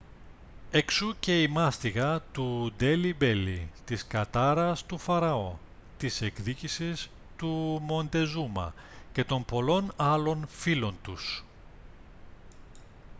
εξού και η μάστιγα του ντέλι μπέλι της κατάρας του φαραώ της εκδίκησης του μοντεζούμα και των πολλών άλλων φίλων τους